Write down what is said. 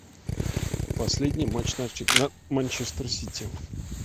последний матч манчестер сити